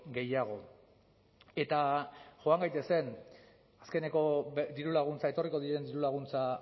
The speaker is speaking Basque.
gehiago eta joan gaitezen azkeneko dirulaguntza etorriko diren dirulaguntza